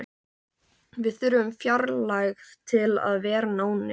Við þurfum fjarlægð til að vera nánir.